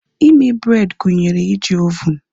Ime bred gụnyere iji ovunu